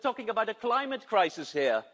We're talking about a climate crisis here.